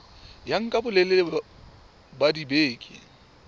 ya nka bolelele ba dibeke